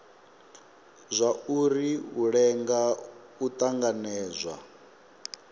zwauri u lenga u tanganedzwa